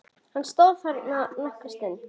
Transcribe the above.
Hann stóð þarna nokkra stund.